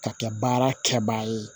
Ka kɛ baara kɛbaa ye